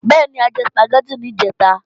Bẹ́ẹ̀ni, a jẹ Sùpàgẹ́tì níjẹ̀ta